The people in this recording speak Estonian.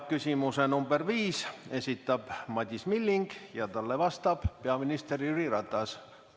Küsimuse number 5 esitab Madis Milling ja talle vastab peaminister Jüri Ratas.